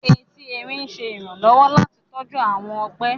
Ẹtì Ẹrín ń ṣe iranlọwọ láti tọju awọn ọgbe